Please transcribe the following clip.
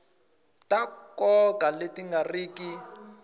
ta nkoka leti nga riki